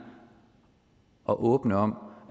og åbne om